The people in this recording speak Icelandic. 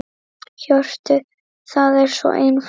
Hjörtur: Það er svo einfalt?